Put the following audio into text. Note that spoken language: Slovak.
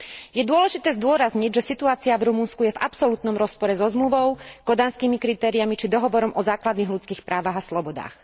Je dôležité zdôrazniť, že situácia v Rumunsku je v absolútnom rozpore so zmluvou, kodanskými kritériami či Dohovorom o základných ľudských právach a slobodách.